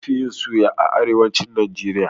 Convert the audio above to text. An fi yin suya a arewacin Najeriya